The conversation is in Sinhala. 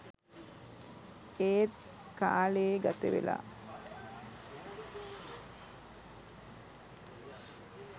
එත් කාලේ ගතවෙලා